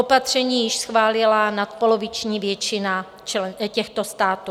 Opatření již schválila nadpoloviční většina těchto států.